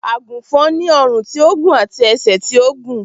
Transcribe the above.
Àgùnfòn ni ọrùn tí ó gùn àti ẹsẹ̀ tí ó gùn